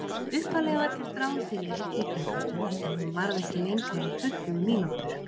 Upphaflega var gert ráð fyrir einni klukkustund, en hún varð ekki lengri en tuttugu mínútur.